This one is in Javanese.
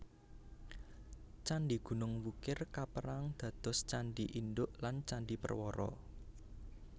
Candhi Gunung Wukir kaperang dados candhi induk lan candhi perwara